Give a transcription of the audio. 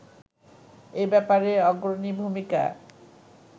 এ ব্যাপারে অগ্রণী ভূমিকা